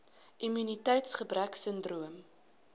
immuniteits gebrek sindroom